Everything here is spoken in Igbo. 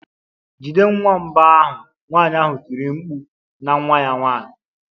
Jide nwamba ahụ!nwanyị ahụ tiri mkpu na nwa ya nwanyị.